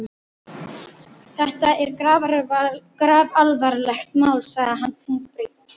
Þetta er grafalvarlegt mál sagði hann þungbrýnn.